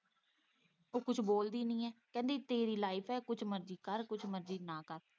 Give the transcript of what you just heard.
ਉਹ ਕੁੱਝ ਬੋਲਦੀ ਨੀ ਏ ਕਹਿੰਦੀ ਤੇਰੀ ਲਾਇਫ਼ ਏ ਕੁੱਛ ਮਰਜ਼ੀ ਕਰ ਕੁੱਛ ਮਰਜ਼ੀ ਨਾ ਕਰ।